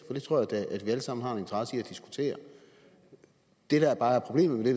for det tror jeg da at vi alle sammen har en interesse i at diskutere det der bare er problemet med det